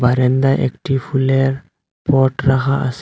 বারান্দায় একটি ফুলের পট রাহা আছে।